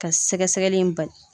Ka sɛgɛsɛgɛli in bali.